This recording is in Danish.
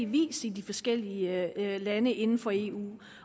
vis i de forskellige lande inden for eu